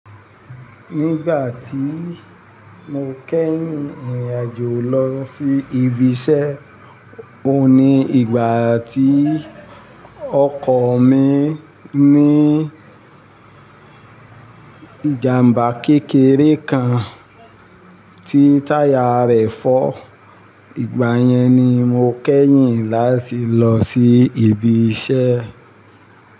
Nígbà tí mo kẹ́yìn ìrìnàjò lọ sí ibi iṣẹ́, ó ní ìgbà tí ọkọ̀ mi ní ìjàmbá kékeré kan tí táyà rẹ̀ fọ́. Ìgbà yẹn ni mo kẹ́yìn láti lọ sí ibi iṣẹ́.